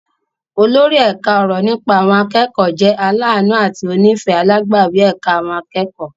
Olórí ẹ̀ka ọ̀rọ̀ nípa àwọn akẹ́kọ̀ọ́ jẹ́ aláàánú àti onífẹ̀ẹ́ alágbàwí ẹ̀ka àwọn akẹ́kọ̀ọ́.